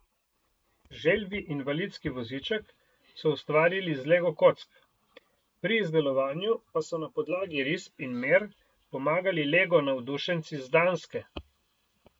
Želvji invalidski voziček so ustvarili iz lego kock, pri izdelovanju pa so na podlagi risb in mer pomagali lego navdušenci z Danske.